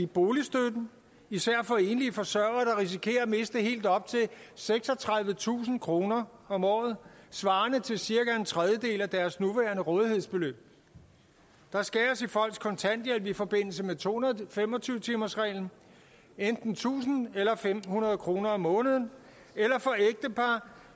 boligstøtten især for enlige forsørgere der risikerer at miste helt op til seksogtredivetusind kroner om året svarende til cirka en tredjedel af deres nuværende rådighedsbeløb der skæres ned på folks kontanthjælp i forbindelse med to hundrede og fem og tyve timersreglen enten tusind eller en tusind fem hundrede kroner om måneden